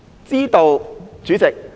知道，主席。